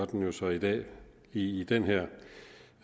den jo så i dag i den